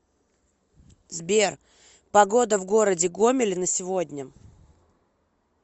сбер погода в городе гомеле на сегодня